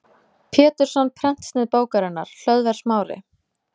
Pétursson prentsnið bókarinnar, Hlöðver Smári